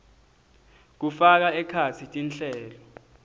kufaka ekhatsi tinhlelo